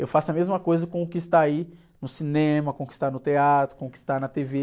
Eu faço a mesma coisa com o que está aí no cinema, com o que está no teatro, com o que está na tê-vê.